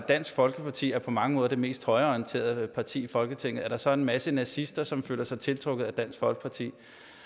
dansk folkeparti er på mange måder det mest højreorienterede parti i folketinget er der så en masse nazister som føler sig tiltrukket af dansk folkeparti